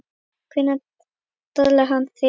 Hvenær talaði hann við þig?